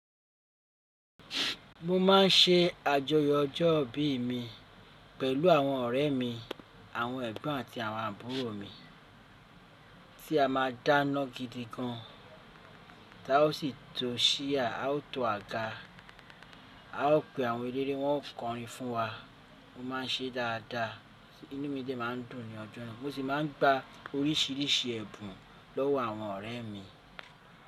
Mo má n ṣe àjọyọ̀ ọjọ́ ìbí mi pẹ̀lú àwọn ọ̀rẹ́ mi, àwọn ẹ̀gbọ́n àti àwọn àbúrò mi tí a ma dáná gidi gan. Taa o sì to chair, a ó to àga, a ó pe àwọn eléré, wọ́n ó kọrin fún wa. Mo má n se dáadáa, inú mi dẹ̀ ma n dùn ní ọjọ́. Mo sì ma n gba oríṣìíríṣìí ẹ̀bùn lọ́wọ́ àwọn ọ̀rẹ́ mi.